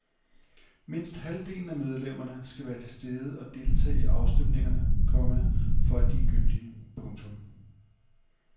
Mindst halvdelen af medlemmerne skal være til stede og deltage i afstemningerne, komma for at de er gyldige. punktum